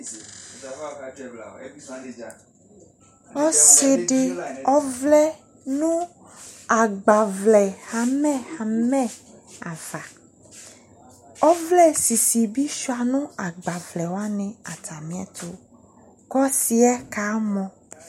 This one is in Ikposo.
Ɔse de ɔvlɛ no agbavlɛ hamɛhamɛ ava ,ɔvlɛ ssisi be sua no agbavlɛ wane atame ɛto ko ɔseɛ kamɔ